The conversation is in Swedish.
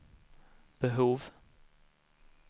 behov